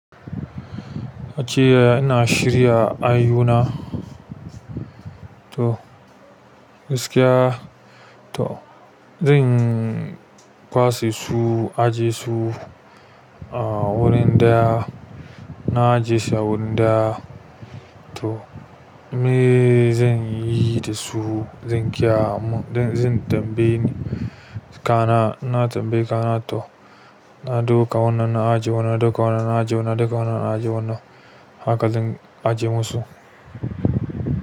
Ajiya ina shirya ayyu na. To gaskiya to zan kwase su, ajiye su ah. A wurin da na ajiyeshi wurin da to me zan yi da su, zan kya mu zan tambaye ni kana ina tambaye ka na to na ɗauka wannan na ajiye wannan ɗauka wannan na ajiye wannan ɗauka wannan na ajiye wannan haka zan ajiye musu.